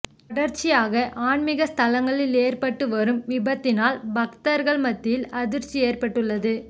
தொடர்ச்சியாக ஆன்மிக ஸ்தலங்களில் ஏற்பட்டு வரும் விபத்தினால் பக்தர்கள் மத்தியில் அதிர்ச்சி ஏற்பட்டுள்ளது